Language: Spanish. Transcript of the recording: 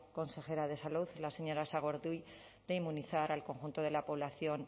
consejera de salud la señora sagardui de inmunizar al conjunto de la población